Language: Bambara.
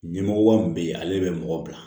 Ɲɛmɔgɔba min bɛ yen ale bɛ mɔgɔ bila